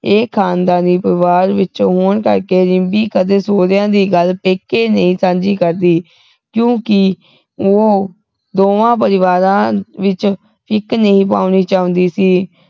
ਇਹ ਖਾਨਦਾਨੀ ਪਰਿਵਾਰ ਵਿੱਚੋ ਹੋਣ ਕਰਕੇ ਰਿੰਕੀ ਕਦੇ ਸਹੁਰਿਆਂ ਦੀ ਗੱਲ ਪੇਕੇ ਨਹੀਂ ਸਾਂਝੀ ਕਰਦੀ ਕਿਉਕਿ ਉਹ ਦੋਵਾਂ ਪਰਿਵਾਰਾ ਵਿਚ ਫਿੱਕ ਨਹੀਂ ਪਾਉਂਦੀ ਚਾਹੁੰਦੀ ਸੀ